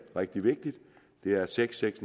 rigtig vigtigt det er seks seks